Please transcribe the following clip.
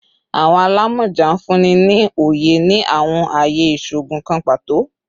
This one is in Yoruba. Awọn alamọja nfunni ni oye ni awọn aaye iṣoogun kan pato